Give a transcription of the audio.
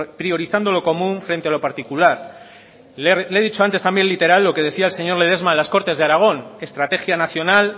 priorizando lo común frente a lo particular le he dicho también antes literal lo que decía el señor ledesma en las cortes de aragón estrategia nacional